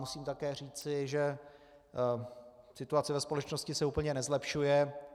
Musím také říci, že situace ve společnosti se úplně nezlepšuje.